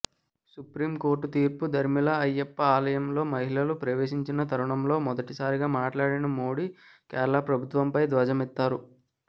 supreme court తీర్పు దరిమిలా అయ్యప్ప ఆలయంలోకి మహిళలు ప్రవేశించిన తరుణంలో మొదటిసారిగా మాట్లాడిన మోడీ కేరళ ప్రభుత్వంపై ధ్వజమెత్తారు